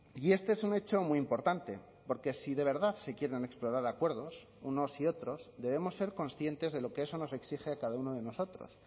y este es un hecho muy importante porque si de verdad se quieren explorar acuerdos unos y otros debemos ser conscientes de lo que eso nos exige a cada uno de nosotros